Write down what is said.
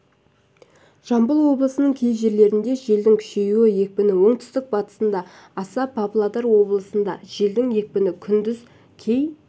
жамбыл облысының кей жерлерінде желдің күшеюі екпіні оңтүстік-батысында аса павлодар облысында желдің екпіні күндіз кей